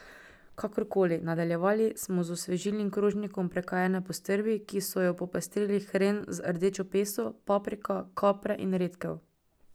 Kakorkoli, nadaljevali smo z osvežilnim krožnikom prekajene postrvi, ki so jo popestrili hren z rdečo peso, paprika, kapre in redkev.